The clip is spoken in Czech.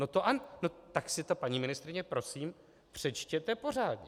No tak si to, paní ministryně, prosím přečtěte pořádně.